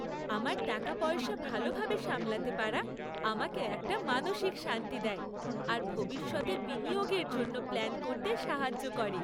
আমার টাকাপয়সা ভালোভাবে সামলাতে পারা আমাকে একটা মানসিক শান্তি দেয় আর ভবিষ্যতের বিনিয়োগের জন্য প্ল্যান করতে সাহায্য করে।